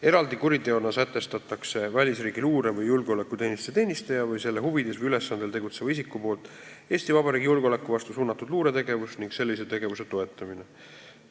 Eraldi kuriteona sätestatakse välisriigi luure- või julgeolekuteenistuse teenistuja või selle huvides või ülesandel tegutseva isiku luuretegevus, mis on suunatud Eesti Vabariigi julgeoleku vastu, ning sellise tegevuse toetamine.